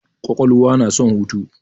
Kwakwalwa na son hutu.